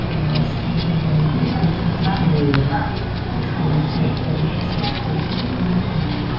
Double bed पे दो गद्दे पड़े हुए हैं और उस पे नीचे एक पैडी सा सिस्टम दिया है गद्दे वाला।